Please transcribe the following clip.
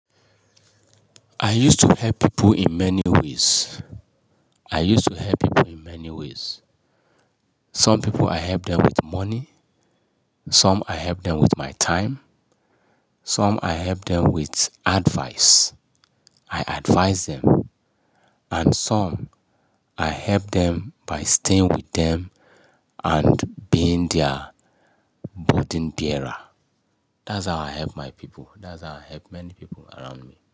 I used to help people in many ways. I used to help people in many ways. Some people I help them with money, some I help them with my time, some I help them with advice. I advise them. And some I help them by staying with them and being their burden bearer. That's how I help my people. That's how I help many people around me.